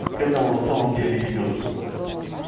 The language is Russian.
к этому на самом деле и идёт все блять